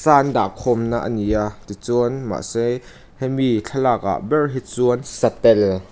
an dah khawmna a ni a tichuan mahse hemi thlalak ah ber hi chuan satel--